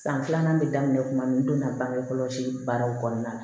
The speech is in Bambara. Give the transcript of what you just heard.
San filanan bɛ daminɛ kuma min donna bangekɔlɔsi baaraw kɔnɔna na